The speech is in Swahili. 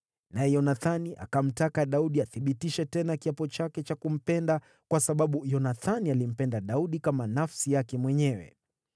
Naye Yonathani akamtaka Daudi athibitishe tena kiapo chake cha kumpenda, kwa sababu Yonathani alimpenda Daudi kama nafsi yake mwenyewe.